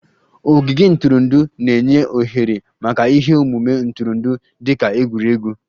Ogige ntụrụndụ na-enye ohere maka ihe omume ntụrụndụ dị ka egwuregwu